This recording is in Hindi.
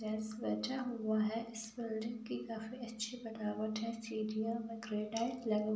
यह सजा हुआ है। इस बिल्डिंग की काफी अच्छी बनावट है। सीढियां में ग्रेनाइट लगा हु --